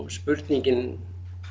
spurningin